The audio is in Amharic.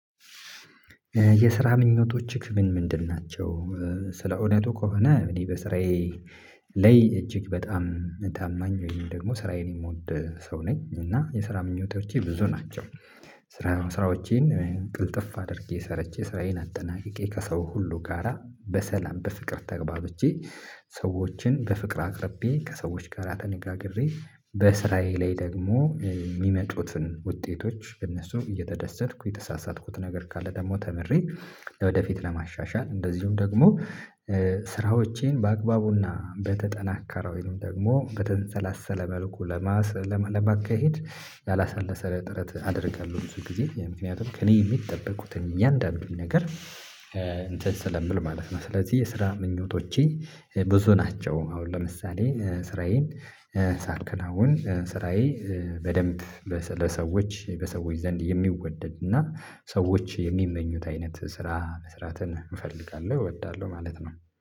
የስራ ምኞቶች ምን ምንድን ናቸው? ስለ እውነቱ ከሆነ እኔ በስራዬ ላይ እጅግ በጣም ታማኝ ወይም ደግሞ ስራዬን የምወድ ሰው ነኝ እና የስራ ምኞቶቼ ብዙ ናቸው። ስራ ስራዎቼን ቅልጥፍ አድርጌ ሰርቼ ስራዬን አጠናቅቄ ከሰው ሁሉ ጋራ በሰላም በፍቅር ተግባብቼ ሰዎችን በፍቅር አቅርቤ ከሰዎች ጋራ ተነጋግሬ በስራዬ ላይ ደግሞ የሚመጡትን ውጤቶች እነሱ እየተደሰትኩ የተሳሳትኩት ነገር ካለ ደግሞ ተምሬ። ወደፊት ለማሻሻል እንደዚሁም ደግሞ ስራዎቼን በአግባቡና በተጠናከረው ወይም ደግሞ በተንሰላሰለ መልኩ ለማካሄድ ያላሰለሰ ጥረት አድርጋለው ብዙ ጊዜ ምክንያቱም ከእኔ የሚጠብቁትን እያንዳንዱን ነገር እንትን ስለምል ማለት ነው። ስለዚህ የስራ ምኞቶቼ ብዙ ናቸው። አሁን ለምሳሌ ስራዬን ሳልከናውን ስራዬ በደንብ ለሰዎች በሰዎች ዘንድ የሚወደድ እና ሰዎች የሚመኙት አይነት ስራ መስራትን እፈልጋለሁ እወዳለሁ ማለት ነው